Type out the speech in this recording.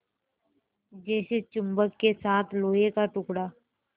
जैसे चुम्बक के साथ लोहे का टुकड़ा